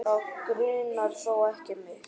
Þá grunar þó ekki mig?